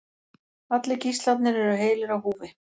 Allir gíslarnir eru heilir á húfi